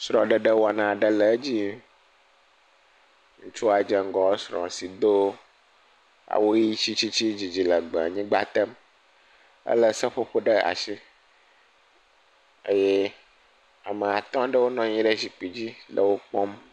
Srɔ̃ɖeɖewɔna aɖe le edzi, ŋutsua dze ŋgɔ esrɔ̃a si do awu ʋi tsitsitsi didi legbee nyigba tem, elé seƒoƒo ɖe asi eye ame atɔ̃ aɖewo nɔ anyi ɖe zikpui dzi le wo kpɔm.